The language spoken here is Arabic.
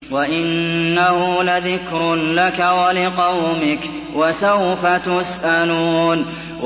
وَإِنَّهُ لَذِكْرٌ لَّكَ وَلِقَوْمِكَ ۖ وَسَوْفَ تُسْأَلُونَ